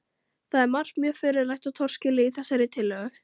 Það er margt mjög furðulegt og torskilið í þessari tillögu.